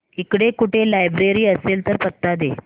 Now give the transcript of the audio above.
इकडे कुठे लायब्रेरी असेल तर पत्ता दे